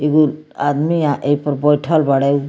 एगो आदमिया एहपे बइठल बाड़े उ --